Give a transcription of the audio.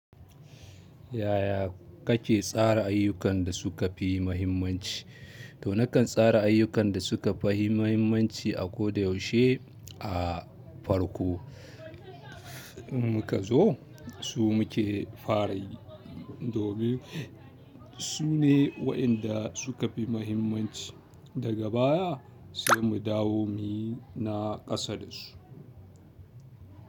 Yaya kake tsara ayyukan da suka fi muhimmanci? To nakan tsara ayyukan da suka fi muhimmanci a ko da yaushe a farko. Muka zo su muke fara yi. Domin sune waƴanda suka fi muhimmanci daga baya sai mu dawo muyi na ƙasa dasu.